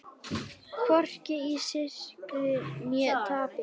Hvorki í sigri né tapi.